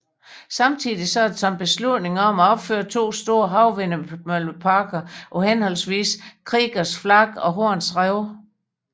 Samtidig er der taget beslutning om at opføre to store havvindmølleparker på henholdsvis Kriegers Flak og Horns Rev